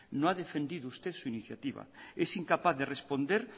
no ha defendido usted su iniciativa es incapaz de responder